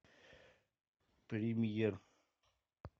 премьер